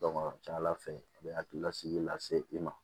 a ka ca ala fɛ a bɛ hakililasigi lase i ma